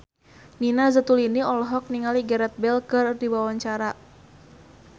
Nina Zatulini olohok ningali Gareth Bale keur diwawancara